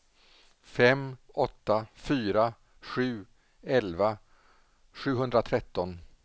fem åtta fyra sju elva sjuhundratretton